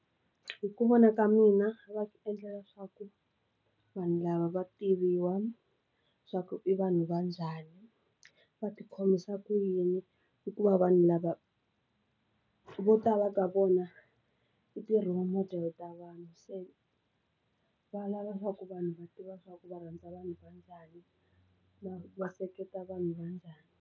Hi ku vona ka mina va ti endlela leswaku vanhu lava va tiviwa leswaku i vanhu va njhani, va ti khomisa ku yini hikuva vanhu lava vo tala ka vona i ti role model ta vanhu se valava leswaku vanhu va tiva swaku va rhandza vanhu va njhani, va va seketela vanhu va njhani.